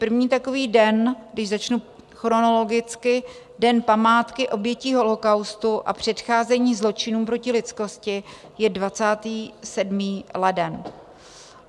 První takový den, když začnu chronologicky, Den památky obětí holocaustu a předcházení zločinům proti lidskosti, je 27. leden.